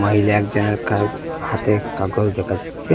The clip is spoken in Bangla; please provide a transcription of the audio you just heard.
মহিলা একজনের কা হাতে কাগজ দেখা যাচ্ছে।